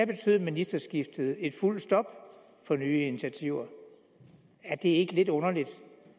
betød ministerskiftet et fuldt stop for nye initiativer er det ikke lidt underligt